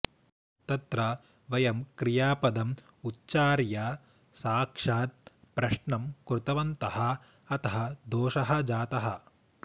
तत्र वयं क्रियापदम् उच्चार्य साक्षात् प्रश्नं कृतवन्तः अतः दोषः जातः